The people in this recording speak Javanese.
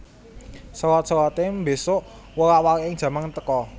Selot selote mbesuk wolak waliking jaman teka